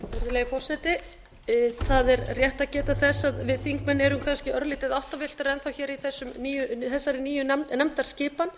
virðulegi forseti það er rétt að geta þess að við þingmenn erum kannski örlítið áttavilltir enn þá hér í þessari nýju nefndaskipan